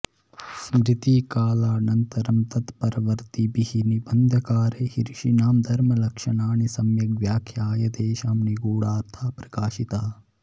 स्मृतिकालानन्तरं तत्परवर्त्तिभिः निबन्धकारैः ऋषीणां धर्मलक्षणानि सम्यग् व्याख्याय तेषां निगूढार्थः प्रकाशितः